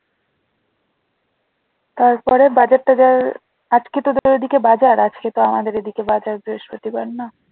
তারপরে বাজার টাজার আজকে তোদের ওদিকে বাজার? আজকে তো আমাদের এদিকে বাজার বৃহস্পতি বার না